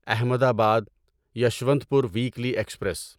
Ahmedabad Yeshwantpur weekly express